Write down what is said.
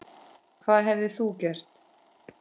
Hvað hefðir þú gert?